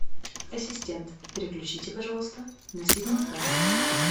ассистент переключите пожалуйста на седьмой канал